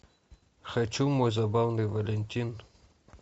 хочу мой забавный валентин